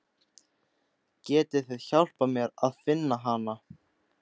Getið þið hjálpað mér að finna hana?